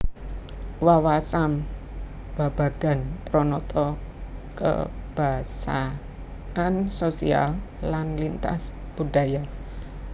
Wawasam babagan pranata kebasaan sosial lan lintas budaya